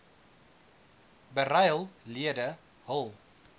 beryl lede hul